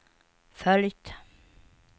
följt